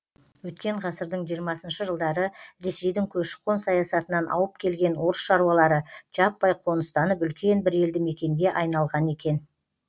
өткен ғасырдың жиырмасыншы жылдары ресейдің көші қон саясатынан ауып келген орыс шаруалары жаппай қоныстанып үлкен бір елді мекенге айналған екен